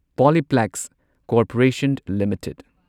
Polyplex corporation limited